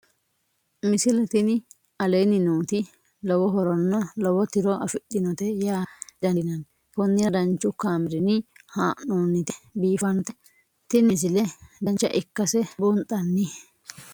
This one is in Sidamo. misile tini aleenni nooti lowo horonna lowo tiro afidhinote yaa dandiinanni konnira danchu kaameerinni haa'noonnite biiffannote tini misile dancha ikkase buunxanni